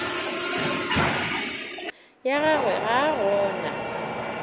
ya gagwe ga a gona